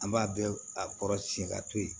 An b'a bɛɛ a kɔrɔsiɲɛ ka to yen